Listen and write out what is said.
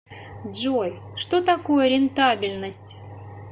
джой что такое рентабельность